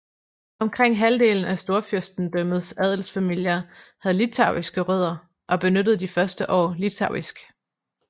Omkring halvdelen af Storfyrstendømmets adelsfamilier havde litauiske rødder og benyttede de første år litauisk